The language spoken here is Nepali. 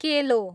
केलो